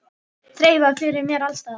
Þreifað fyrir mér alls staðar.